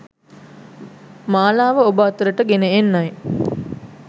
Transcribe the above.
මාලාව ඔබ අතරට ගෙන එන්නයි